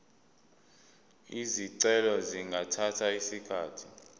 izicelo zingathatha isikhathi